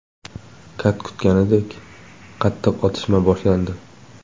Kat kutganidek, qattiq otishma boshlandi.